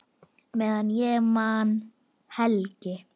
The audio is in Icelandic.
Meðan ég man, Helgi.